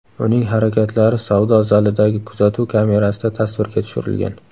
Uning harakatlari savdo zalidagi kuzatuv kamerasida tasvirga tushirilgan.